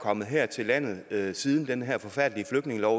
kommet her til landet siden den her forfærdelige flygtningelov